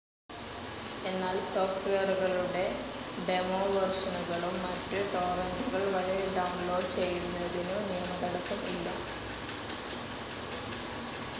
എന്നാൽ സോഫ്റ്റ്‌വെയറുകളുടെ ഡെമോവേർഷനുകളും മറ്റും ടോറന്റുകൾ വഴി ഡൌൺ ലോഡ്‌ ചെയ്യുന്നതിനു നിയമതടസ്സം ഇല്ല.